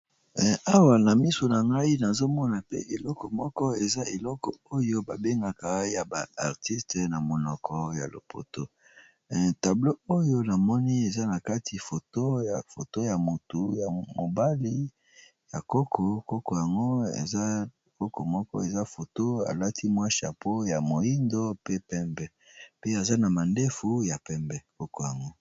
Awa na misu na ngai nazomona pe eloko moko eza eloko oyo babengaka ya ba artiste na monoko ya lopoto, tablo oyo namoni eza na kati foto ya foto ya motu ya mobali ya koko, koko yango koko moko eza foto alati mwa chapeau ya moindo pe pembe pe aza na mandefu ya pembe koko yango.